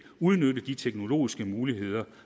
udnytte de teknologiske muligheder